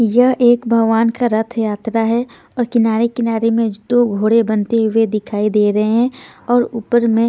यह एक भगवान का रथ यात्रा है और किनारे-किनारे में दो घोड़े बनते हुए दिखाई दे रहे हैं और ऊपर मैं--